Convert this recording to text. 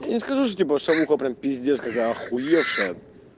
я не скажу что типа шавуха прям пиздец какая ахуевшая